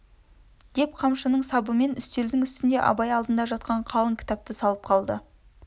деп қамшының сабымен үстел үстінде абай алдында жатқан қалың кітапты салып қалды